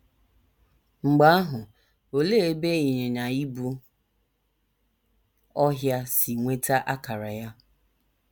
Mgbe ahụ, olee ebe ịnyịnya ibu ọhịa si nweta akara ya?